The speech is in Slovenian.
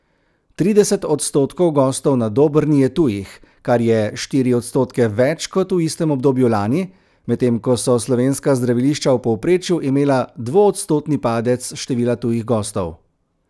Trideset odstotkov gostov na Dobrni je tujih, kar je štiri odstotke več kot v istem obdobju lani, medtem ko so slovenska zdravilišča v povprečju imela dvoodstotni padec števila tujih gostov.